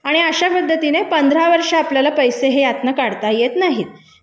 अशा पद्धतीने पंधरा वर्षे आपल्याला पैसे ते आपल्याला यातलं काढता येत नाहीत